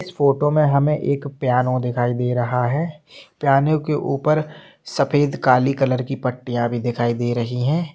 इस फोटो मे हमे एक पियानो दिखाई दे रहा हैं पियानो के ऊपर सफेद काले कलर की पट्टिया भी दिखाई दे रही हैं।